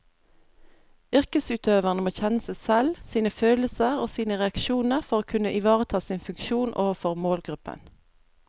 Yrkesutøverne må kjenne seg selv, sine følelser og sine reaksjoner for å kunne ivareta sin funksjon overfor målgruppen.